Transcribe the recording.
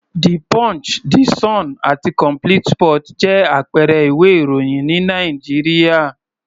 The Punch, The Sun àti Complete sports jẹ́ àpẹẹrẹ ìwé-ìròyìn ní Nàìjíríà.